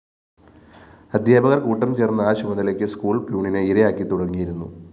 അദ്ധ്യാപകര്‍ കൂട്ടം ചേര്‍ന്ന് ആ ചുമതലയ്ക്ക് സ്കൂൾ പ്യൂണിനെ ഇരയാക്കിത്തുടങ്ങിയിരുന്നു